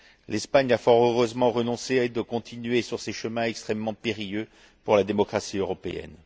L'Espagne a fort heureusement renoncé à continuer sur ces chemins extrêmement périlleux pour la démocratie européenne.